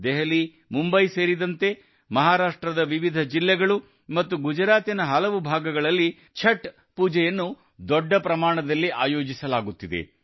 ದೆಹಲಿ ಮುಂಬೈ ಸೇರಿದಂತೆ ಮಹಾರಾಷ್ಟ್ರದ ವಿವಿಧ ಜಿಲ್ಲೆಗಳು ಮತ್ತು ಗುಜರಾತ್ ನ ಹಲವು ಭಾಗಗಳಲ್ಲಿ ಛಠ್ ಪೂಜೆಯನ್ನು ದೊಡ್ಡ ಪ್ರಮಾಣದಲ್ಲಿ ಆಯೋಜಿಸಲಾಗುತ್ತಿದೆ